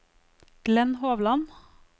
Glenn Hovland